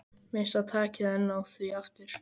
Missa takið en ná því aftur.